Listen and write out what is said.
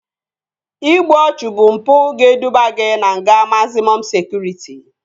İgbu ọchụ bụ mpụ ga-eduba gị na nga mazịmọm sekụritị